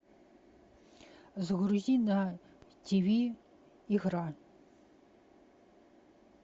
загрузи на ти ви игра